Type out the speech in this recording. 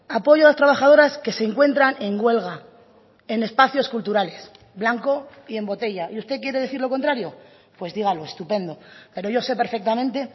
apoyo a las trabajadoras que se encuentran en huelga en espacios culturales blanco y en botella y usted quiere decir lo contrario pues dígalo estupendo pero yo sé perfectamente